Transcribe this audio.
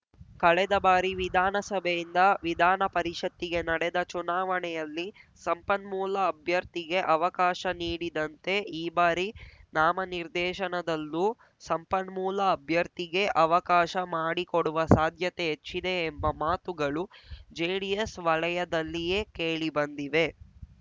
ಕಳೆದ ಬಾರಿ ವಿಧಾನಸಭೆಯಿಂದ ವಿಧಾನಪರಿಷತ್ತಿಗೆ ನಡೆದ ಚುನಾವಣೆಯಲ್ಲಿ ಸಂಪನ್ಮೂಲ ಅಭ್ಯರ್ಥಿಗೆ ಅವಕಾಶ ನೀಡಿದಂತೆ ಈ ಬಾರಿ ನಾಮನಿರ್ದೇಶನದಲ್ಲೂ ಸಂಪನ್ಮೂಲ ಅಭ್ಯರ್ಥಿಗೇ ಅವಕಾಶ ಮಾಡಿಕೊಡುವ ಸಾಧ್ಯತೆ ಹೆಚ್ಚಿದೆ ಎಂಬ ಮಾತುಗಳು ಜೆಡಿಎಸ್‌ ವಲಯದಲ್ಲಿಯೇ ಕೇಳಿ ಬಂದಿವೆ